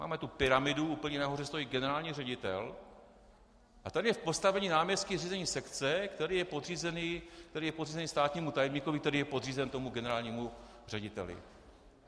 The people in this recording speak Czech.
Máme tu pyramidu, úplně nahoře stojí generální ředitel, a tady je v postavení náměstka řízení sekce, který je podřízený státnímu tajemníkovi, který je podřízený tomu generálnímu řediteli.